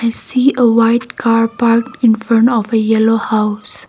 to see a white car park in front of a yellow house.